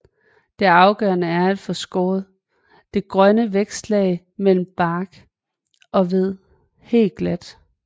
Det afgørende er at få skåret det grønne vækstlag mellem bark og ved helt glat